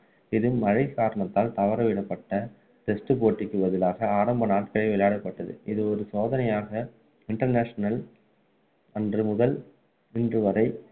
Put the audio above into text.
இது மழை காரணத்தால் தவறவிடப்பட்ட test போட்டிக்கு பதிலாக ஆரம்ப நாளில் விளையாடப்பட்டது இது ஒரு சோதனையாக international அன்று முதல் இன்று வரை